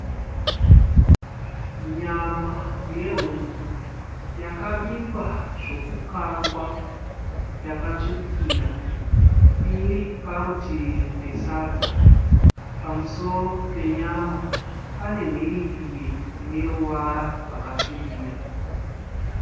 Nyama yehuku yakabikwa zvokukangwa yakatsvukira. Iri parutivi pesadza. Pamusoro penyama pane mhiripiri ine ruvara rwakasvibira.